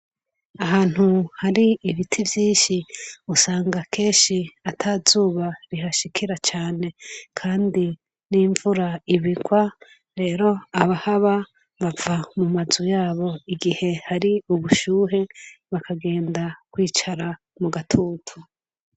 Ahantu hari ibiti vyinshi usanga keshi atazuba bihashikira cane, kandi n'imvura ibirwa rero abahaba bava mu mazu yabo igihe hari ubushuhe bakagenda kwicara mu gatutu.